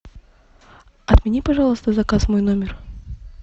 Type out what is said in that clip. отмени пожалуйста заказ в мой номер